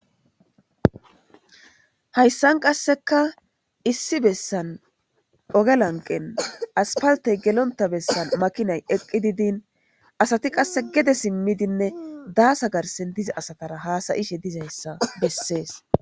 hayssan qasseka issi bessan oge lanqen aspaltey gelonta bessan makinay eqqi didin asati qasse gede simmidinne daasa garsen dizi asatara haasayishe dizayssa bessees